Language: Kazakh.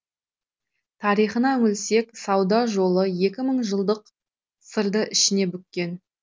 тарихына үңілсек сауда жолы екі мың жылдық сырды ішіне бүккен